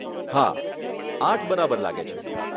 હા, આઠ બરાબર લાગે છે.